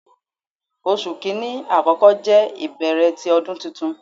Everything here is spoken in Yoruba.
Oṣu Kini akọkọ jẹ ibẹrẹ ti Ọdun Tuntun